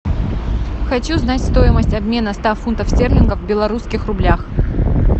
хочу знать стоимость обмена ста фунтов стерлингов в белорусских рублях